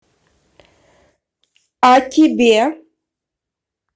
а тебе